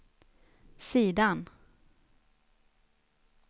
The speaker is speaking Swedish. sidan